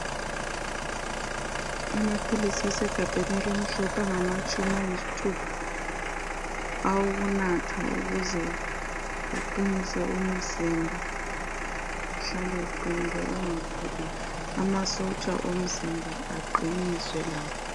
Amaphilisi asegabheni elimhlophe, angamatshumi ayisithupha.. Awokunatha ukuze uqinise umzimba. Uhlale. uqinile, ungaguli. Amasotsha omzimba aqiniswe lawo.